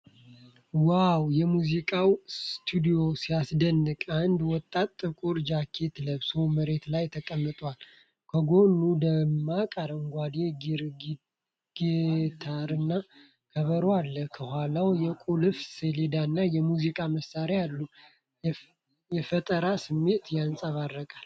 ዋው! የሙዚቃው ስቱዲዮ ሲያስደንቅ! አንድ ወጣት ጥቁር ጃኬት ለብሶ መሬት ላይ ተቀምጧል። ከጎኑ ደማቅ አረንጓዴ ጊታርና ከበሮ አለ። ከኋላው የቁልፍ ሰሌዳና የሙዚቃ መሣሪያዎች አሉ። የፈጠራ ስሜት ያንጸባርቃል።